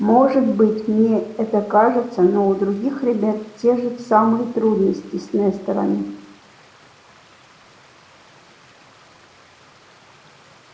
может быть мне это кажется но у других ребят те же самые трудности с несторами